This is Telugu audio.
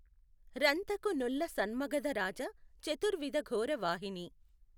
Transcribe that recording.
రంతకు నుల్లసన్మగధరాజ చతుర్విధఘోర వాహినీ